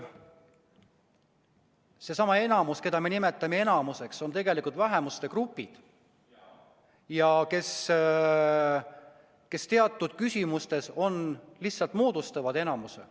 Seesama enamus, keda me nimetame enamuseks, koosneb tegelikult vähemuste gruppidest, kes teatud küsimustes lihtsalt moodustavad enamuse.